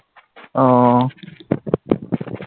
ওহ